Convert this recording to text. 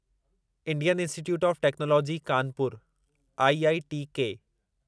Indian Institute of Technology Kanpur IITK